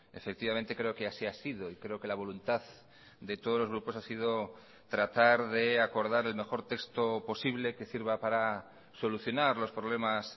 efectivamente creo que así ha sido y creo que la voluntad de todos los grupos ha sido tratar de acordar el mejor texto posible que sirva para solucionar los problemas